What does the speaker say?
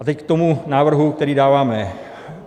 A teď k tomu návrhu, který dáváme.